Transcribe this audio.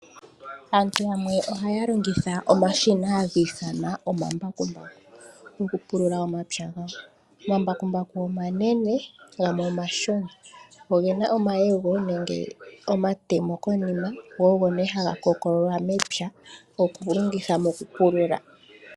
Aantu yamwe ohaya longithwa omashina haga ithanwa omambakumbaku okupulula omapya gawo. Omambakumbu omanene gamwe omashona. Oge na omayego nenge omatemo konima go ogo nee haga kokololwa mepya okulongitha mokupulula.